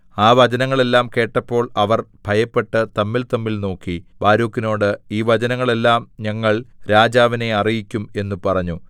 ആ വചനങ്ങളെല്ലാം കേട്ടപ്പോൾ അവർ ഭയപ്പെട്ട് തമ്മിൽതമ്മിൽ നോക്കി ബാരൂക്കിനോട് ഈ വചനങ്ങളെല്ലാം ഞങ്ങൾ രാജാവിനെ അറിയിക്കും എന്ന് പറഞ്ഞു